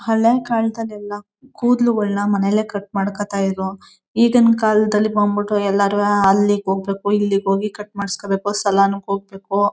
ಹಳೆ ಕಾಲ್ದಲ್ ಎಲ್ಲ ಕೂಡ್ಲುಗಳ್ನ ಮನೇಲೆ ಕಟ್ ಮಾಡ್ಕೊಳ್ತಾ ಇದ್ರೂ. ಈಗಿನ ಕಾಲದಲ್ಲಿ ಬಂದ್ಬಿಟು ಎಲ್ಲರು ಹಾ ಅಲ್ಲಿಗ್ ಹೋಗ್ಬೇಕು ಇಲ್ಲಿಗ್ ಹೋಗಿ ಕಟ್ ಮಾಡ್ಸ್ಕೊಬೇಕು ಸಾಲಾನ್ ಗೆ ಹೋಗ್ಬೇಕು.